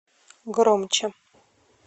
громче